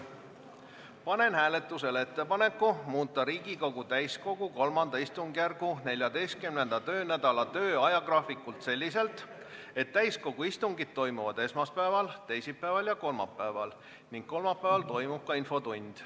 Panen hääletusele ettepaneku muuta Riigikogu täiskogu III istungjärgu 14. töönädala ajagraafikut selliselt, et täiskogu istungid toimuksid esmaspäeval, teisipäeval ja kolmapäeval ning kolmapäeval toimuks ka infotund.